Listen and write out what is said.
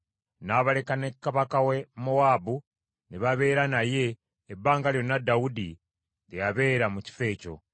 N’abaleka ne kabaka wa Mowaabu, ne babeera naye ebbanga lyonna Dawudi lye yabeera mu kifo ekyo.